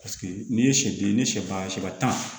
Paseke n'i ye sɛ den ni sɛ ban